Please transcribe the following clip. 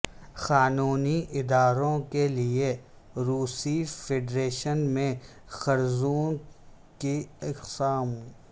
قانونی اداروں کے لئے روسی فیڈریشن میں قرضوں کی اقسام